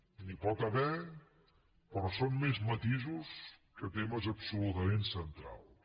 n’hi pot haver però són més matisos que temes absolutament centrals